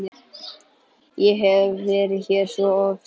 Ég hef verið hér svo oft.